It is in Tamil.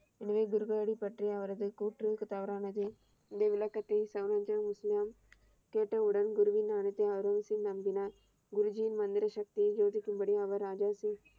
எனவே குருநாயக் பற்றிய அவரது கூற்று தவறானது இந்த விளக்கத்தை இஸ்லாம் கேட்ட உடன் குருஜி நாயக் அவ்ரவ்ஸிந் நம்பினார். குருஜியின் மந்திர சக்தியை சோதிக்கும்படி அவர் ராஜாஜி